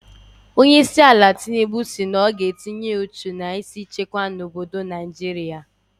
Onyeisiala Tinubu si na ọ ga-etinye uchu na ịhụ na-ewebatakwụrụ ndị isi nchekwa n'obodo Naijiria.